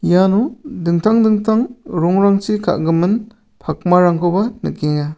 iano dingtang dingtang rongrangchi ka·gimin pakmarangkoba nikenga.